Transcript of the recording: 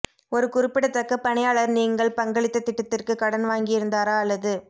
ஒரு குறிப்பிடத்தக்க பணியாளர் நீங்கள் பங்களித்த திட்டத்திற்கு கடன் வாங்கியிருந்தாரா அல்லது